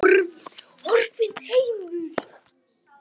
Horfinn heimur.